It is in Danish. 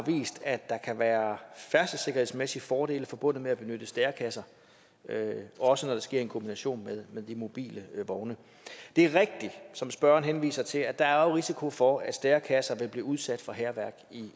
vist at der kan være færdselssikkerhedsmæssige fordele forbundet med at benytte stærekasser også når det sker i en kombination med de mobile vogne det er rigtigt som spørgeren henviser til at der er risiko for at stærekasser vil blive udsat for hærværk